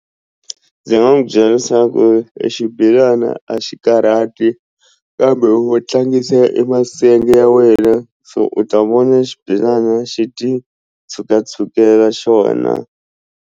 Ndzi nga n'wi byela leswaku i xibelana a xi karhati kambe wo tlangisa e masenge ya wena so u ta vona xibelana xi ti tshukatshukela xona.